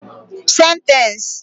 Sentence